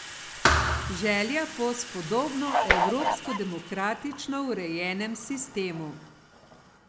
Želja po spodobno evropsko demokratično urejenem sistemu.